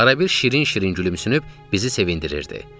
Arabir şirin-şirin gülümsünüb, bizi sevindirirdi.